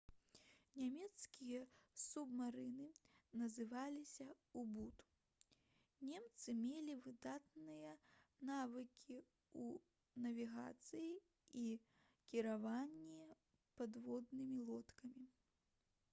нямецкія субмарыны называліся «у-бут». немцы мелі выдатныя навыкі ў навігацыі і кіраванні падводнымі лодкамі